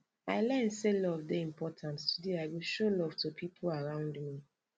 i learn sey love dey important today i go show love to pipo around me